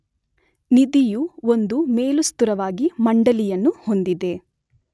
ನಿಧಿಯು ಒಂದು ಮೇಲುಸ್ತುವಾರಿ ಮಂಡಳಿಯನ್ನು ಹೊಂದಿದೆ